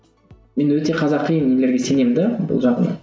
мен өте қазақи нелерге сенемін де бұл жағынан